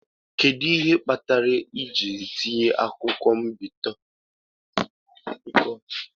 Kedu ihe kpatara ị ji tiye akwụkwọ mpịakọta mposi mmiri?